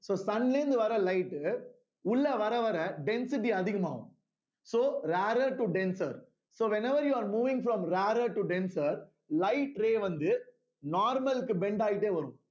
so sun ல இருந்து வர்ற light உ உள்ளே வர வர density அதிகமாகும் so rarer to denser so whenever you are moving from rarer to denser light ray வந்து normal க்கு bend ஆயிட்டே வரும்